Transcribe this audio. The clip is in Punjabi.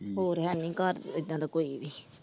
ਹੋਰ ਹੈਨੀ ਘਰ ਏਦਾਂ ਦਾ ਕੋਈ ਵੀ ।